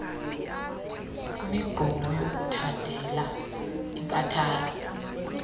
imigqomo yokuthandela inkathalo